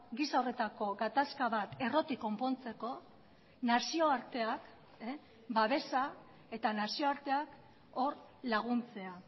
giza horretako gatazka bat errotik konpontzeko nazioarteak babesa eta nazioarteak hor laguntzea